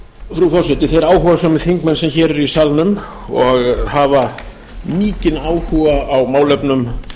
frú forseti þeir áhugasömu þingmenn sem hér eru í salnum og hafa mikinn áhuga á málefnum